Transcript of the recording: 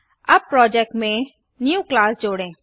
अब प्रोजेक्ट में new class जोड़ें